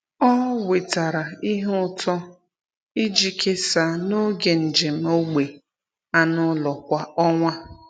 Ọ wetara ihe ụtọ iji kesaa n’oge njem ógbè anụ ụlọ kwa ọnwa.